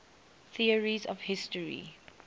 theories of history